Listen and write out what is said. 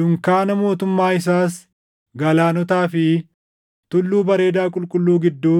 Dunkaana mootummaa isaas galaanotaa fi tulluu bareedaa qulqulluu gidduu